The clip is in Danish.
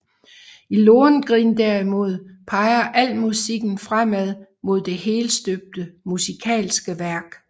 I Lohengrin derimod peger al musikken fremad mod det helstøbte musikalske værk